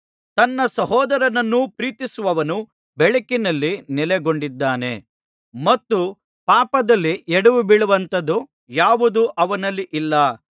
ತನ್ನ ಸಹೋದರನನ್ನು ಪ್ರೀತಿಸುವವನು ಬೆಳಕಿನಲ್ಲಿ ನೆಲೆಗೊಂಡಿದ್ದಾನೆ ಮತ್ತು ಪಾಪದಲ್ಲಿ ಎಡವಿಬೀಳುವಂಥದ್ದು ಯಾವುದೂ ಅವನಲ್ಲಿ ಇಲ್ಲ